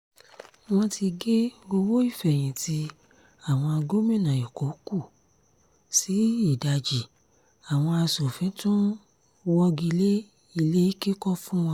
wọ́n ti gé owó ìfẹ̀yìntì àwọn gómìnà èkó kù sí ìdajì àwọn asòfin tún wọ́gilẹ́ ilé kíkọ́ fún wọn